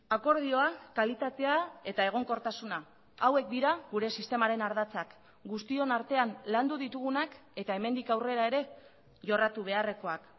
akordioa kalitatea eta egonkortasuna hauek dira gure sistemaren ardatzak guztion artean landu ditugunak eta hemendik aurrera ere jorratu beharrekoak